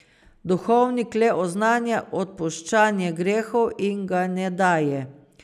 Duhovnik le oznanja odpuščanje grehov in ga ne daje.